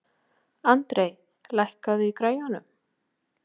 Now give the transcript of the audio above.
André, lækkaðu í græjunum.